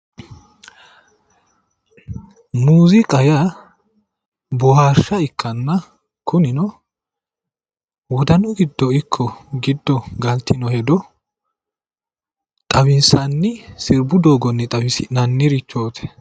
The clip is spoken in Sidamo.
Muuziiqa yaa, boohaarsha ikkanna kunino wodanu giddo ikko giddo galtino hedo xawissanni sirbu doogonni xawisi'nannirichooti